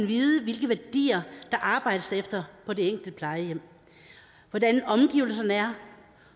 vide hvilke værdier der arbejdes efter på det enkelte plejehjem hvordan omgivelserne er